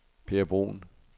Per Bruun